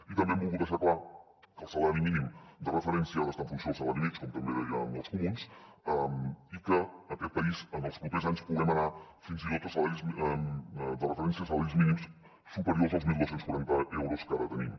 i també hem volgut deixar clar que el salari mínim de referència ha d’estar en funció del salari mitjà com també deien els comuns i que a aquest país en els pro·pers anys puguem anar fins i tot a salaris de referència salaris mínims superiors als dotze quaranta euros que ara tenim